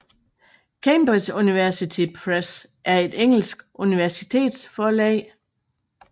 Cambridge University Press er et engelsk universitetsforlag